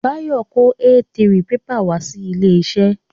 Bayo kó A3 pepà wá sí ilé iṣẹ́